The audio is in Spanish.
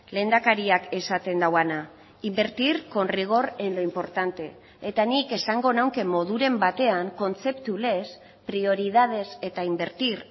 lehendakariak esaten duena invertir con rigor en lo importante eta nik esango nuke moduren batean kontzeptu lez prioridades eta invertir